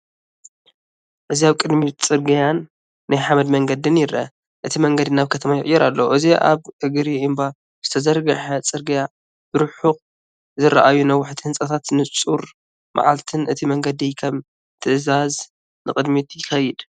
እዚ ኣብ ቅድሚት ጽርግያን ናይ ሓመድ መንገድን ይርአ። እቲ መንገዲ ናብ ከተማ ይቕየር ኣሎ። እዚ ኣብ እግሪ እምባ ዝተዘርግሐ ጽርግያ፡ ብርሑቕ ዝረኣዩ ነዋሕቲ ህንጻታትን ንጹር መዓልትን። እቲ መንገዲ ከም ትእዛዝ ንቕድሚት ይከይድ።